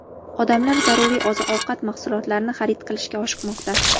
Odamlar zaruriy oziq-ovqat mahsulotlarini xarid qilishga oshiqmoqda.